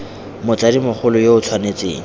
motsadi mogolo yo o tshwanetseng